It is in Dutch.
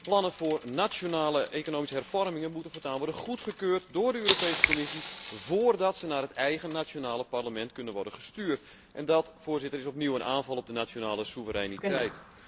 De plannen voor nationale economische hervormingen moeten voortaan worden goedgekeurd door de Europese Commissie voordat zij naar het eigen nationale parlement kunnen worden gestuurd en dat is opnieuw een aanval op de nationale soevereiniteit.